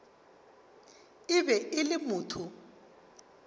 e be e le motho